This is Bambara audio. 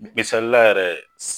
Misalila yɛrɛ